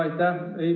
Aitäh!